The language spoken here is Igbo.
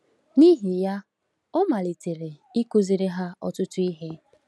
N’ihi ya, ọ malitere ịkụziri ha ọtụtụ ihe.